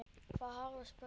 Það hafði breyst.